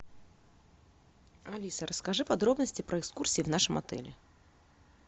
алиса расскажи подробности про экскурсии в нашем отеле